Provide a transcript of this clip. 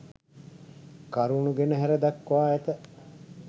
කරුණු ගෙන හැර දක්වා ඇත.